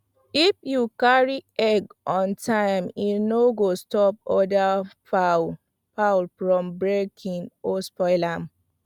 if you carry egg on time e go stop other fowl fowl from breaking or spoil am